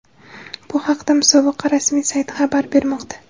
Bu haqda musobaqa rasmiy sayti xabar bermoqda .